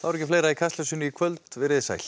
ekki fleira í Kastljósinu í kvöld veriði sæl